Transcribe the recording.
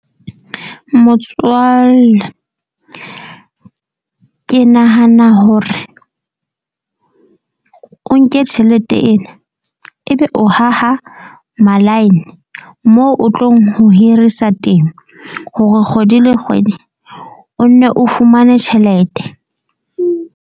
Motswalle ke nahana hore o nke tjhelete ena. Ebe o haha ma-line mo o tlong ho hirisa temo hore kgwedi le kgwedi o nne o fumane tjhelete.